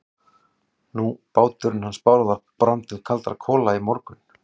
Nú, báturinn hans Bárðar brann bara til kaldra kola í morgun.